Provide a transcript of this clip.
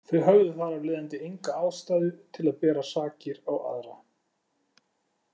Þau höfðu þar af leiðandi enga ástæðu til að bera sakir á aðra.